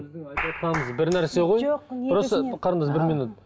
сіздің айтыватқаныңыз бір нәрсе ғой қарындас бір минут мхм